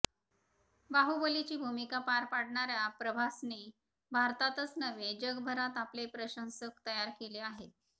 बाहुबलीची भूमिका पार पाडणाऱया प्रभासने भारतातच नव्हे जगभरात आपले प्रशंसक तयार केले आहेत